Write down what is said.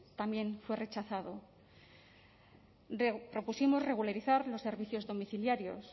también fue rechazado propusimos regularizar los servicios domiciliarios